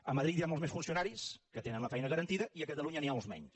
a madrid hi ha molts més funcionaris que tenen la feina garantida i a catalunya n’hi ha alguns menys